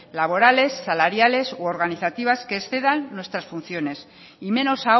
laborales salariales u organizativas que excedan nuestras funciones y menos